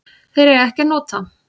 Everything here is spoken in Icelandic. Þeir eiga ekki að nota